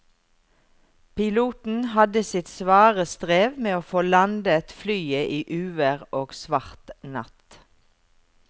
Piloten hadde sitt svare strev med å få landet flyet i uvær og svart natt.